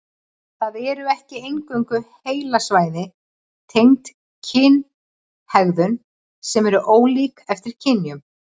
Það eru ekki eingöngu heilasvæði tengd kynhegðun sem eru ólík eftir kynjum.